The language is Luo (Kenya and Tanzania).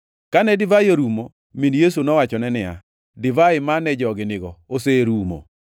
Kane divai orumo, min Yesu nowachone niya, “Divai mane jogi nigo oserumo.”